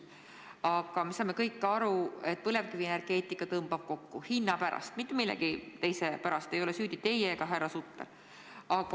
Aga me kõik saame aru, et põlevkivienergeetika sektor tõmbub kokku hinna pärast, mitte millegi muu pärast, ei ole süüdi teie ega härra Sutter.